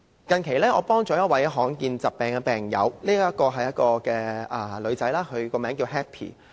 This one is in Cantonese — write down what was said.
近期我幫助了一名罕見疾病的病友，她是一名女孩子，名為 Happy。